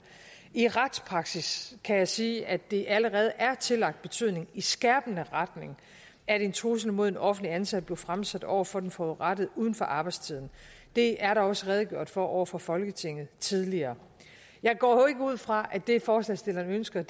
i retspraksis kan jeg sige at det allerede er tillagt betydning i skærpende retning at en trussel mod en offentligt ansat bliver fremsat over for den forurettede uden for arbejdstiden det er der også redegjort for over for folketinget tidligere jeg går jo ikke ud fra at det forslagsstillerne ønsker